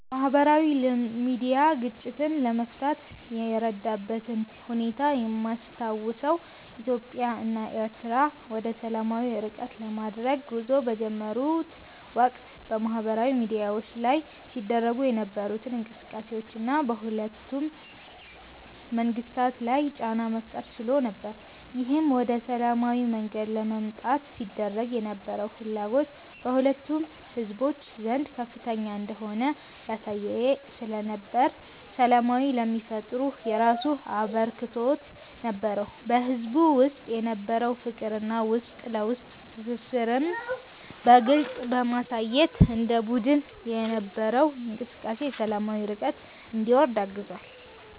ማህበራዊ ሚድያ ግጭትን ለመፍታት የረዳበትን ሁኔታ የማስታውሰው ኢትዮጵያ እና ኤሪትሪያ ወደሰላማዊ እርቅ ለማድረግ ጉዞ በጀመሩት ወቅት በማህበራዊ ሚድያዎች ላይ ሲደረጉ የነበሩት እንቅስቃሴዎች እና በሁለቱም መንግስታት ላይ ጫና መፍጠር ችሎ ነበር። ይህም ወደ ሰላማዊ መንገድ ለመምጣት ሲደረግ የነበረው ፍላጎት በሁለቱም ህዝቦች ዘንድ ከፍተኛ እንደሆነ ያሳየ ስለነበር ሰላም ለሚፈጠሩ የራሱ አበርክቶት ነበረው። በህዝቡ ውስጥ የነበረውን ፍቅር እና የውስጥ ለውስጥ ትስስርን በግልጽ በማሳየት ማህበራዊ ሚድያ ላይ የሚሰሩ በግልም ይሁን እንደ በቡድን የነበረው እንቅስቃሴ ሰላማዊ እርቅ እንዲወርድ አግዟል።